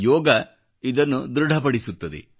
ಯೋಗ ಇದನ್ನು ಧೃಡಪಡಿಸುತ್ತದೆ